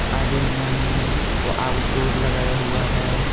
आगे में व आउट डोर लगाया हुआ है।